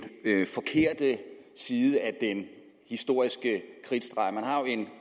forkerte side af den historiske kridtstreg man har jo en